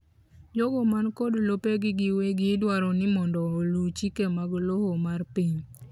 jogo man kod lopegi giwegi idwaro ni mondo oluu chike mag lowo mar piny